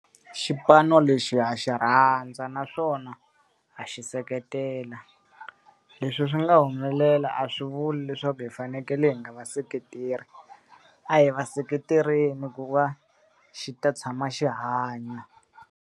Xipanu lexi ha xi rhandza naswona a xi seketela. Leswi swi nga humelela a swi vuli leswaku hi fanekele hi nga va seketeli, a hi va seketeleni ku va xi ta tshama xi hanya.